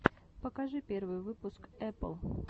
покажи первый выпуск эпл